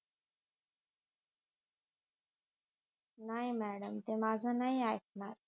नाही मॅडम ते माझ नाही आईकणार